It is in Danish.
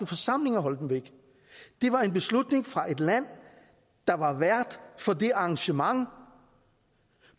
forsamling at holde dem væk det var en beslutning fra et land der var vært for det arrangement